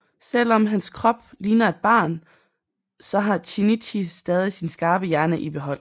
Selv om hans krop ligner et barns så har Shinichi stadig sin skarpe hjerne i behold